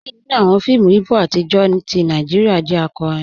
Díẹ̀ nínú awọn fíìmù Ìgbò atijọ́ tì Nàìjíríà jẹ́ àkọ́rín.